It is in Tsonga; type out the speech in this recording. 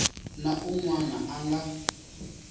na un wana a nga